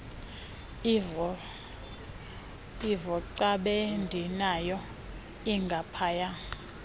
ivocab endinayo ingaphaya